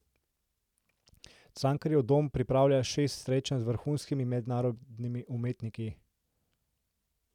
Cankarjev dom pripravlja šest srečanj z vrhunskimi mednarodnimi umetniki.